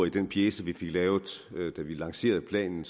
i den pjece vi fik lavet da vi lancerede planen